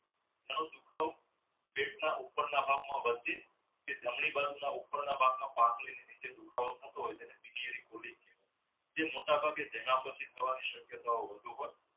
પેટના ઉપરના ભાગમાં તે જમણી બાજુ ના ઉપરના ભાગમાં દુખાવો થતો હોય છે જે મોટાભાગે જેના પછી શક્યતાઓ